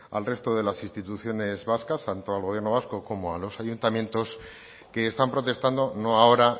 al resto de las instituciones vascas tanto al gobierno vasco como a los ayuntamientos que están protestando no ahora